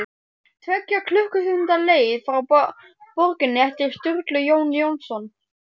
Tveggja klukkustunda leið frá borginni eftir Sturlu Jón Jónsson